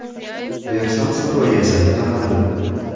Versal saroyi esa talandi.